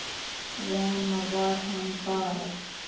Svona var hann bara.